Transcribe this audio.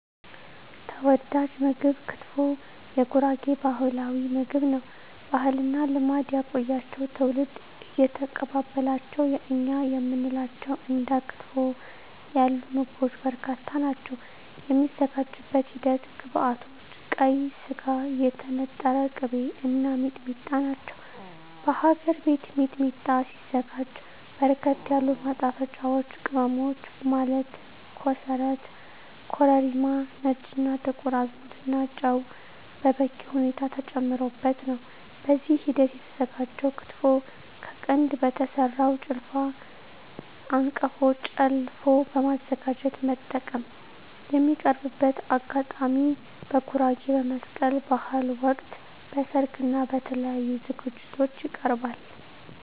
ተወዳጅ ምግብ ክትፎ የጉራጌ ባህላዊ ምግብ ነው። ባህልና ልማድ ያቆያቸው ትውልድ እየተቀባበላቸው የእኛ የምንላቸው እንደ ክትፎ ያሉ ምግቦች በርካታ ናቸው። የሚዘጋጅበት ሂደት ግብዐቶች ቀይ ስጋ, የተነጠረ ቅቤ , እና ሚጥሚጣ ናቸው። በሀገር ቤት ሚጥሚጣ ሲዘጋጅ በርከት ያሉ ማጣፈጫወች ቅመሞች ማለት ኮሰረት , ኮረሪማ , ነጭ እና ጥቁር አዝሙድ እና ጨው በበቂ ሁኔታ ተጨምሮበት ነው። በዚህ ሂደት የተዘጋጀው ክትፎ ከቀንድ በተሰራው ጭልፋ/አንቀፎ ጨለፎ በማዘጋጀት መጠቀም። የሚቀርብበት አጋጣሚ በጉራጌ በመስቀል በሀል ወቅት, በሰርግ እና በተለያዪ ዝግጅቶች ይቀርባል።።